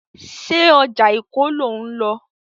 Ṣé ọjà Èkó lò ń lọ?